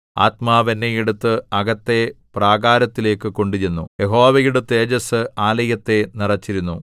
ആത്മാവ് എന്നെ എടുത്ത് അകത്തെ പ്രാകാരത്തിലേക്കു കൊണ്ടുചെന്നു യഹോവയുടെ തേജസ്സ് ആലയത്തെ നിറച്ചിരുന്നു